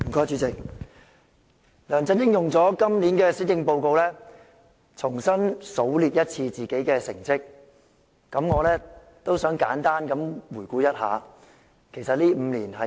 主席，梁振英用今年施政報告重新數列自己的成績，我也想簡單回顧一下，其實這5年是怎樣的呢？